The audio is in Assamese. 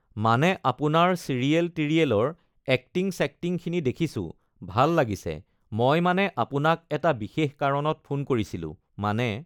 মানে আপোনাৰ ছিৰিয়েল-টিৰিয়েলৰ এক্টিং-ছেক্টিঙখিনি দেখিছোঁ ভাল লাগিছে মই মানে আপোনাক এটা বিশেষ কাৰণত ফোন কৰিছিলোঁ মানে